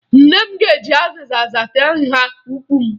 Nne m ga-eji azịza hata nha ụkwụ m